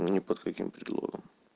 ни под каким предлогом